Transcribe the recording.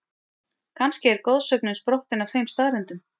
Kannski er goðsögnin sprottin af þeim staðreyndum?